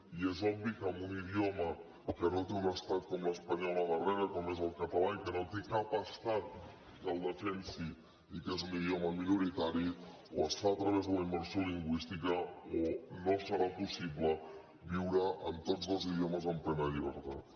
i és obvi que en un idioma que no té un estat com l’espanyol al darrere com és el català i que no té cap estat que el defensi i que és un idioma minoritari o es fa a través de la immersió lingüística o no serà possible viure amb tots dos idiomes en plena llibertat